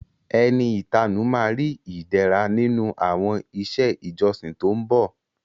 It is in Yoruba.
Ẹni ìtanú ma ri Ìdẹ̀ra nínú àwọn iṣẹ́ ìjọsìn tó ń bọ̀